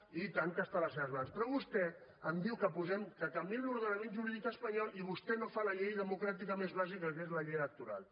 oi tant que és a les seves mans però vostè em diu que posem que canviem l’ordenament jurídic espanyol i vostè no fa la llei democràtica més bàsica que és la llei electoral